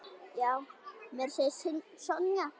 Já, meira að segja Sonja.